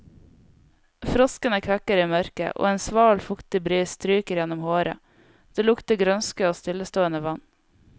Froskene kvekker i mørket, en sval, fuktig bris stryker gjennom håret, det lukter grønske og stillestående vann.